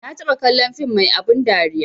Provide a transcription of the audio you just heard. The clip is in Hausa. Ma taɓa kallon film mai abun dariya